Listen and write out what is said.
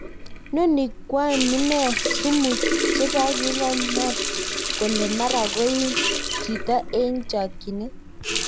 Noni kwan munen sumu chepanginganyr kole mara kogeim jito en chakinet